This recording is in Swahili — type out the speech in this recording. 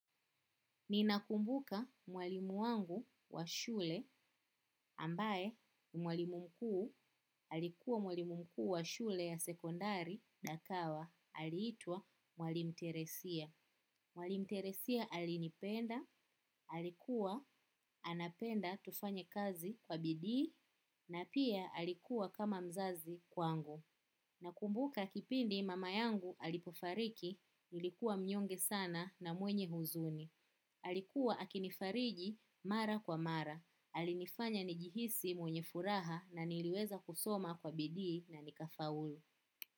Ninakumbuka mwalimu wangu wa shule ambae mwalimu mkuu alikuwa mwalimu mkuu wa shule ya sekondari Dakawa aliitwa mwalimu teresia. Mwalimu teresia alinipenda, alikuwa anapenda tufanye kazi kwa bidii na pia alikuwa kama mzazi kwangu. Nakumbuka kipindi mama yangu alipofariki nilikuwa mnyonge sana na mwenye huzuni. Alikuwa akinifariji mara kwa mara. Alinifanya nijihisi mwenye furaha na niliweza kusoma kwa bidii na nika faulu.